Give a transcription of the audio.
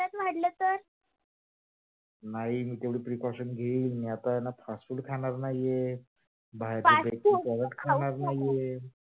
नाही. तेवढ precausion मी घेईन मी आता आहे ना? fast food खाणार नाही आहे. बाहेरच काहीच खाणार नाही आहे fast food तर खाऊच नको.